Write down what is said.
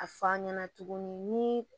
A fɔ a ɲɛna tuguni ni